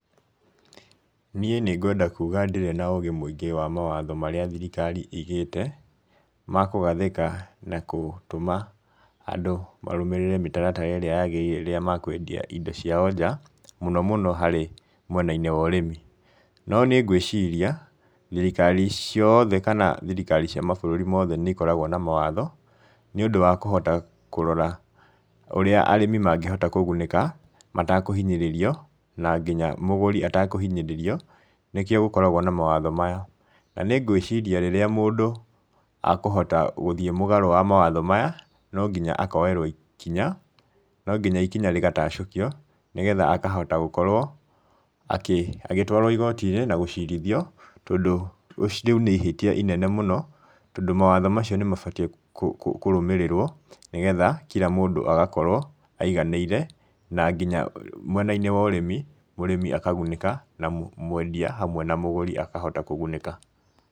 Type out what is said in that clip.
Niĩ nĩngwenda kuuga ndirĩ na ũgĩ mũingĩ wa mawatho marĩa thirikari ĩigĩte, ma kũgathĩka na gũtũma andũ marũmĩrĩre mĩtaratara ĩrĩa yagĩrĩire rĩrĩa makwendia indo ciao nja, mũnomũno harĩ mwena-inĩ wa ũrĩmi. No nĩngwĩciria thirikari ciothe kana thirikari cia mabũrũri mothe nĩ ikoragwo na mawatho nĩũndũ wa kũhota kũrora ũrĩa arĩmi mangĩhota kũgunĩka, matakũhinyĩrĩrio na nginya mũgũri atakũhinyĩrĩrio nĩkĩo gũkoragwo na mawatho maya. Nĩngwĩciria rĩrĩa mũndũ akũhota gũthiĩ mũgarũ wa mawatho maya, no nginya akoerwo ikinya, no nginya ikinya rĩgatacũkio nĩgetha akahota gũkorwo akĩ agĩtwarwo igoti-inĩ na gũcirithio, tondũ rĩu nĩ ihĩtia inene mũno, tondũ mawatho macio nĩ mabatie kũrũmĩrĩrwo nĩgetha kira mũndũ agakorwo aiganĩire na nginya mwenainĩ wa ũrĩmi, mũrĩmi akagunĩka na mwendia hamwe na mũgũri akahota kũgunĩka.